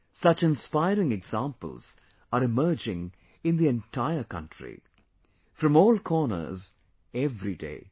Such inspiring examples are emerging in the entire country, from all corners, everyday